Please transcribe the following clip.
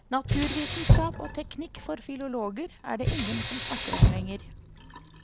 Naturvitenskap og teknikk for filologer er det ingen som snakker om lenger.